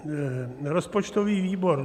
"Rozpočtový výbor